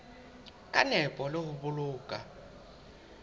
ka nepo le ho boloka